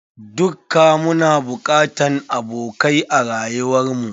Dukka muna bokatan abokai a rayuwar mu.